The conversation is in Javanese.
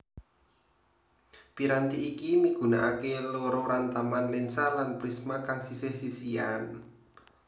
Piranti iki migunakaké loro rantaman lènsa lan prisma kang sisih sisihan